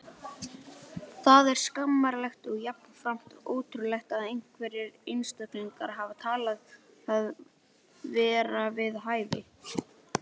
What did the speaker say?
Það er skammarlegt og jafnframt ótrúlegt að einhverjir einstaklingar hafi talið það vera við hæfi.